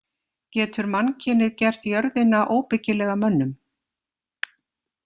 Getur mannkynið gert jörðina óbyggilega mönnum?